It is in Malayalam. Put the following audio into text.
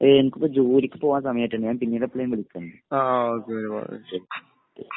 എനിക്ക് ഇപ്പൊ ജോലിക്ക് പോകാൻ സമയായിട്ടുണ്ട്. ഞാൻ പിന്നീട് എപ്പളെങ്കിലും വിളിക്കണ്ട്. ഓക്കേ.